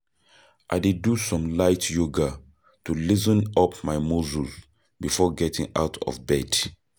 I dey do some light yoga to loosen up my muscles before getting out of bed.